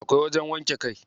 Akwai wajen wanke kai.